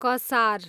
कसार